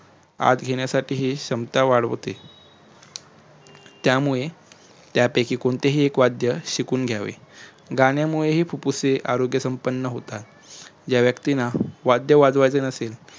आत घेण्यासठी ही क्षमता वाढवते त्यामुळे त्यापयकी कोणतेही एक वाध्य शिकून घ्यावे गाण्यामुळेही आरोग्यसंपन्न होतात ज्या व्यक्तींना वाध्य वाजवायचे नसेल